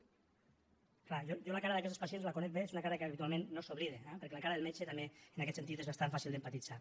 és clar jo la cara d’aquests pacients la conec bé és una cara que habitualment no s’oblida eh perquè la cara del metge també en aquest sentit és bastant fàcil d’empatitzar